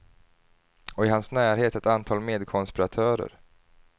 Och i hans närhet ett antal medkonspiratörer.